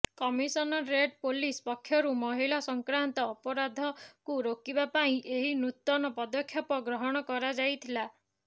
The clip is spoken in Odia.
କମିସନରେଟ ପୁଲିସ ପକ୍ଷରୁ ମହିଳା ସଂକ୍ରାନ୍ତ ଅପରାଧକୁ ରୋକିବା ପାଇଁ ଏହି ନୂତନ ପଦକ୍ଷେପ ଗ୍ରହଣ କରାଯାଇଥିଲା